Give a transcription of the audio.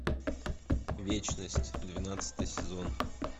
вечность двенадцатый сезон